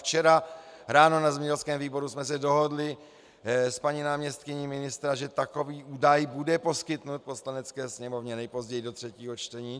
Včera ráno na zemědělském výboru jsme se dohodli s paní náměstkyní ministra, že takový údaj bude poskytnut Poslanecké sněmovně nejpozději do třetího čtení.